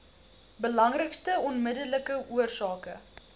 belangrikste onmiddellike oorsake